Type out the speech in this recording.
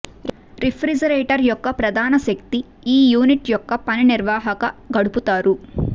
refrigerator యొక్క ప్రధాన శక్తి ఈ యూనిట్ యొక్క పని నిర్వహణ గడుపుతారు